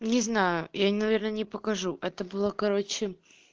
не знаю я наверное не покажу это было короче